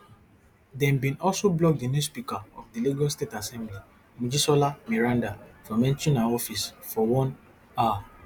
dem bin also block di new speaker of di lagos state assembly mojisola meranda from entering her office for one hour